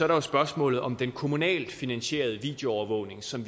der spørgsmålet om den kommunalt finansierede videoovervågning som